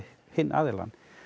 hinn aðilann